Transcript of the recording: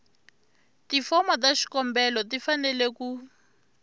tifomo ta xikombelo tifanele ku